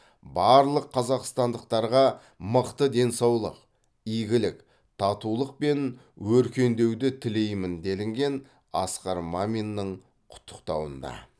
барлық қазақстандықтарға мықты денсаулық игілік татулық пен өркендеуді тілеймін делінген асқар маминнің құттықтауында